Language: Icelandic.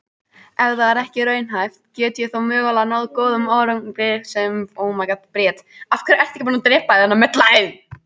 Ef það er ekki raunhæft, get ég þá mögulega náð góðum árangri sem þjálfari Sindra?